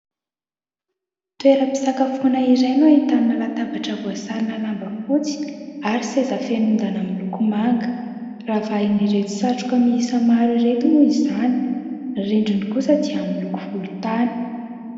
Toeram-pisakafoana iray no ahitana latabatra voasarona lamba fotsy ary seza feno ondana miloko manga. Ravahan'ireto satroka miisa maro ireto moa izany. Ny rindriny kosa dia miloko volontany.